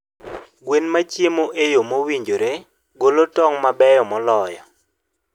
Gweno ma chiemo e yo mowinjore golo tong' mabeyo moloyo.